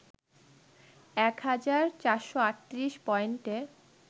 ১ হাজার ৪৩৮ পয়েন্টে